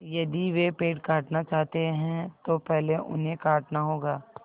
यदि वे पेड़ काटना चाहते हैं तो पहले उन्हें काटना होगा